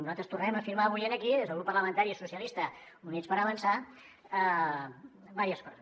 nosaltres tornem a afirmar avui aquí des del grup parlamentari socialistes i units per avançar diverses coses